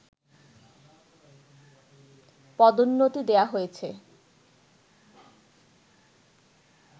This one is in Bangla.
পদোন্নতি দেয়া হয়েছে